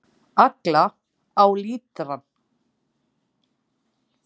Agla: Á lítrann.